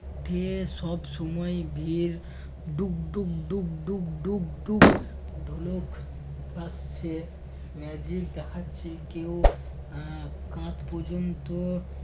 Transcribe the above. সব সময়ই বিলের ডুক ডুক ডুক ডুক ডুক ডুক ঢোলক বাজছে magic দেখাচ্ছে কেউ এর কাঁধ পর্যন্ত